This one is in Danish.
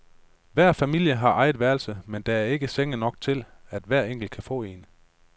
Hver familie har eget værelse, men der er ikke senge nok til, at hver enkelt kan få en.